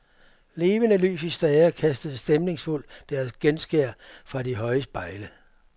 Levende lys i stager kastede stemningsfuldt deres genskær fra de høje spejle.